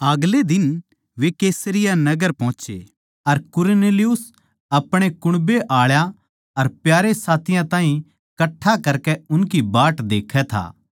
आगले दिन वे कैसरिया नगर पोहोचे अर कुरनेलियुस अपणे कुण्बे आळा अर प्यारे साथियाँ ताहीं कट्ठा करकै उनकी बाट देखै था